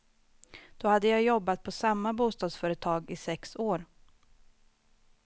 Då hade jag jobbat på samma bostadsföretag i sex år.